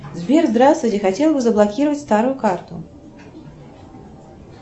сбер здравствуйте хотела бы заблокировать старую карту